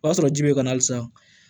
O y'a sɔrɔ ji bɛ ka halisa